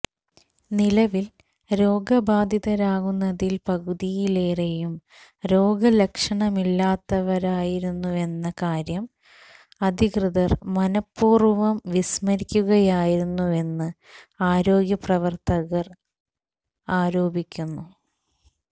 നിലവില് രോഗബാധിതരാകുന്നതില് പകുതിയിലേറെയും രോഗലക്ഷണമില്ലാത്തവരായിരുന്നുവെന്ന കാര്യം അധികൃതര് മനഃപൂര്വം വിസ്മരിക്കുകയാണെന്ന് ആരോഗ്യ പ്രവര്ത്തകര് ആരോപിക്കുന്നു